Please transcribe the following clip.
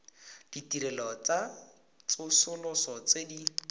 ditirelo tsa tsosoloso tse di